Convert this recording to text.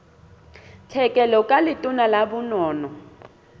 tlhekelo ka letona la bonono